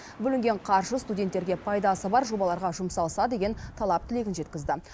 бөлінген қаржы студенттерге пайдасы бар жобаларға жұмсалса деген талап тілегін жеткізді